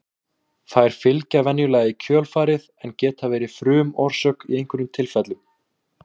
Þær fylgja venjulega í kjölfarið en geta verið frumorsök í einhverjum tilfellum.